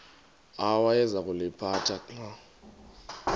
awayeza kuliphatha xa